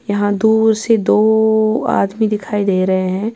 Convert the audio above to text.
.یحیٰ دور سے دووو آدمی دکھائی دے رہے ہیں